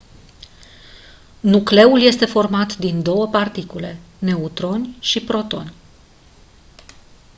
nucleul este format din 2 particule neutroni și protoni